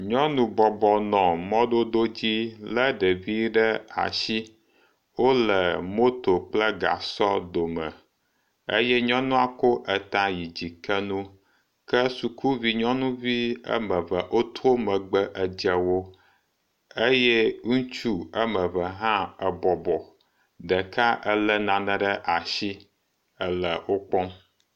Nyɔnu bɔbɔ nɔ mɔdodo dzi lé ɖevi ɖe asi. Wole moto kple gasɔ dome eye nyɔnua ko ta yi di ke nu ke sukuvi nyɔnuvi wome eve woto megbe edze wo eye ŋutsu wome eve hã ebɔbɔ, ɖeka elé nane ɖe asi ele wo kpɔm.